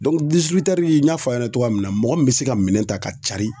n y'a fɔ aw ɲɛna cogoya min na mɔgɔ min bɛ se ka minɛn ta ka carin